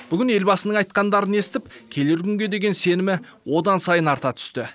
бүгін елбасының айтқандарын естіп келер күнге деген сенімі одан сайын арта түсті